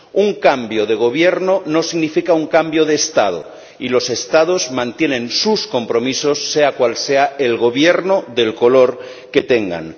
Un cambio de gobierno no significa un cambio de Estado y los Estados mantienen sus compromisos, sea cual sea el gobierno del color que tengan.